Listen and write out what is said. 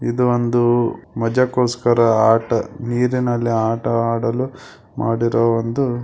ಇದು ಒಂದು ಮಜಕ್ಕೋಸ್ಕರ ಆಟ ನೀರಿನಲ್ಲಿ ಆಟ ಆಡಲು ಮಾಡಿರೋ ಒಂದು --